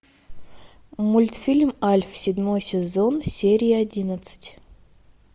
мультфильм альф седьмой сезон серия одиннадцать